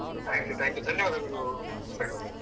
Thank you thank you ಧನ್ಯವಾದಗಳು ಮುಸ್ತಕ್ ಅವ್ರೆ.